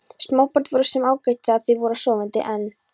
Smábörn voru svo sem ágæt þegar þau voru sofandi, en